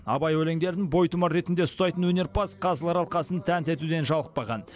абай өлеңдерін бойтұмар ретінде ұстайтын өнерпаз қазылар алқасын тәнті етуден жалықпаған